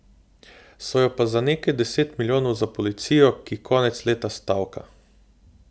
So jo pa za nekaj deset milijonov za policijo, ki konec leta stavka.